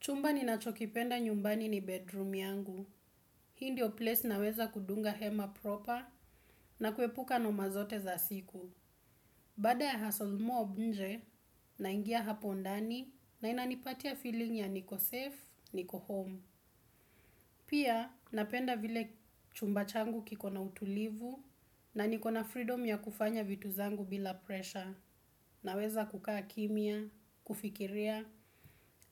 Chumba ninachokipenda nyumbani ni bedroom yangu. Hii ndio place naweza kudunga hema proper na kuepuka noma zote za siku. Baada ya hustle mob nje naingia hapo ndani na inanipatia feeling ya niko safe, niko home. Pia napenda vile chumba changu kiko na utulivu na niko na freedom ya kufanya vitu zangu bila pressure. Naweza kukaa kimya, kufikiria